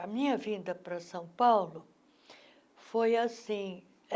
A minha vinda para São Paulo foi assim.